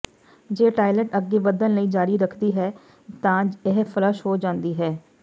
ਜੇ ਟਾਇਲਟ ਅੱਗੇ ਵਧਣ ਲਈ ਜਾਰੀ ਰੱਖਦੀ ਹੈ ਤਾਂ ਇਹ ਫਲੱਸ਼ ਹੋ ਜਾਂਦੀ ਹੈ